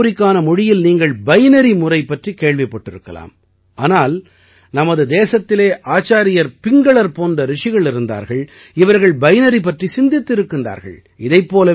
கணிப்பொறிக்கான மொழியில் நீங்கள் பைனரி முறை பற்றிக் கேள்விப்பட்டிருக்கலாம் ஆனால் நமது தேசத்திலே ஆச்சார்யர் பிங்களர் போன்ற ரிஷிகள் இருந்தார்கள் இவர்கள் பைனரி பற்றி சிந்தித்திருக்கிறார்கள்